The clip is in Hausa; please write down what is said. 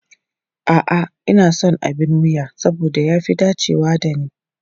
A'a, ina son abin wuya saboda ya fi dacewa da ni.